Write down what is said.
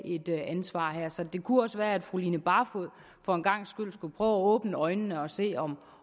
et ansvar her så det kunne også være at fru line barfod for en gangs skyld skulle prøve at åbne øjnene og se om